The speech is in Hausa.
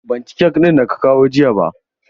Ban ci kek ɗin da ka kawo jiya ba.